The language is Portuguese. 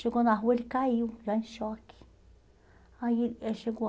Chegou na rua, ele caiu, já em choque. Aí chegou